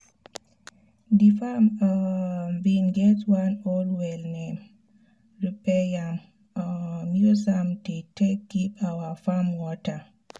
d farm um bin get one old well naim we repair am um use am dey take give our farm water